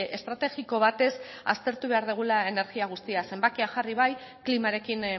estrategiko batez aztertu behar dugula energia guztia zenbakiak jarri bai klimarekin